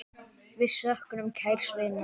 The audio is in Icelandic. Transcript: Við söknum kærs vinar.